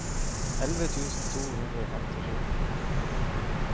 elleve tusen to hundre og femtisju